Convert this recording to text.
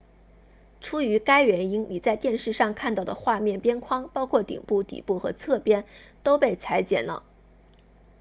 出于该原因你在电视上看到的画面边框包括顶部底部和侧边都被裁剪了